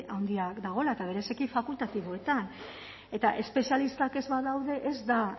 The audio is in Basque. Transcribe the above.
handia dagoela eta bereziki fakultatiboetan eta espezialistak ez badaude ez da